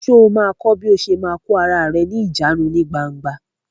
Sọ ma kọ́ bí o ṣe ma kò ara rẹ ní ìjánu ní gbangba?